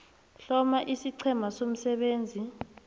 hloma isiqhema somsebenzi